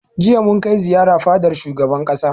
Jiya mun kai ziyara fadar shugaban ƙasa